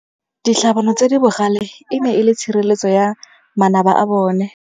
Ditlhabanô tse di bogale e ne e le tshirêlêtsô ya manaba a bone.